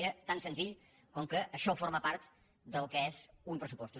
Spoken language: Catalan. era tan senzill com que això forma part del que són uns pressupostos